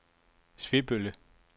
Svebølle